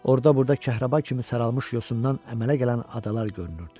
Orda-burda kəhrəba kimi saralmış yosundan əmələ gələn adalar görünürdü.